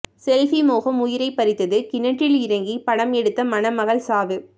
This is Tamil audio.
செல்பி மோகம் உயிரை பறித்தது கிணற்றில் இறங்கி படம் எடுத்த மணமகள் சாவு